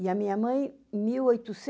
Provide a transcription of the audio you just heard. E a minha mãe, em mil